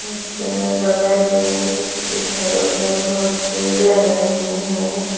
इससे बगल में इधर-उधर बहुत पेड़ लगे हुए हैं।